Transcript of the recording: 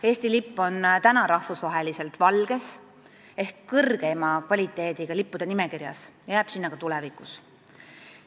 Eesti lipp on rahvusvahelises plaanis kõrgeima kvaliteediga lipp, mis asub valges nimekirjas ja jääb sinna ka tulevikus.